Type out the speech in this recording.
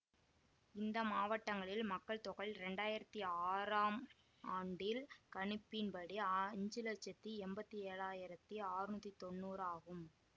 இந்த மாவட்டங்களில் மக்கள் தொகை இரண்டாயிரத்தி ஆறாம் ஆண்டில் கணிப்பின் படி அஞ்சு லட்சத்தி எம்பத்தி ஏழாயிரத்தி ஆற்நூத்தி தொன்னூறாகும்